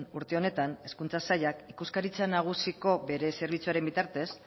urte honetan hezkuntza sailak ikuskaritza nagusiko bere zerbitzuaren bitartez